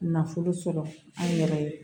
Nafolo sɔrɔ an yɛrɛ ye